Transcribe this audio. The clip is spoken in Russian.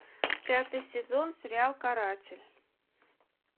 пятый сезон сериал каратель